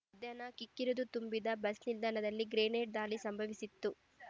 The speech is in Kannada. ಮಧ್ಯಾಹ್ನ ಕಿಕ್ಕಿರಿದು ತುಂಬಿದ್ದ ಬಸ್ ನಿಲ್ದಾಣದಲ್ಲಿ ಗ್ರೆನೇಡ್ ದಾಳಿ ಸಂಭವಿಸಿತ್ತು